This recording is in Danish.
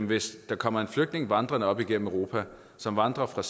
hvis der kommer en flygtning vandrende op igennem europa som vandrer fra